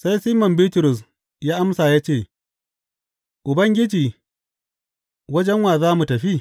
Sai Siman Bitrus ya amsa ya ce, Ubangiji wajen wa za mu tafi?